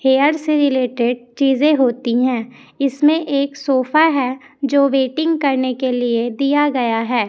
Hair से related चीजे होती हैं इसमें एक सोफा है जो वेटिंग करने के लिए दिया गया है।